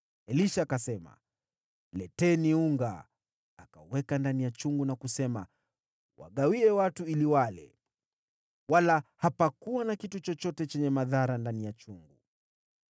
Elisha akasema, “Leteni unga.” Akauweka ndani ya chungu na kusema, “Wagawie watu ili wale.” Wala hapakuwa na kitu chochote chenye madhara ndani ya chungu.